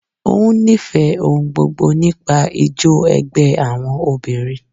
Ó ń nífẹ̀ẹ́ ohun gbogbo nípa ijó ẹgbẹ́ àwọn obìnrin.